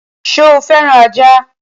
Sọ fẹ́ràn ajá?